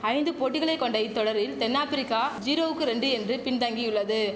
ஐந்து போட்டிகளை கொண்ட இத்தொடரில் தென் ஆப்பிரிக்க ஜீரோவுக்கு ரெண்டு என்று பின் தங்கியுள்ளது